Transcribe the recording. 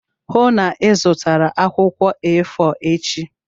Hụụ na Ị zụtara akwụkwọ A4 echi!